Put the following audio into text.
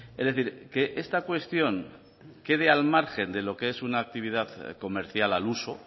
es decir que esta cuestión quede al margen de lo que es una actividad comercial al uso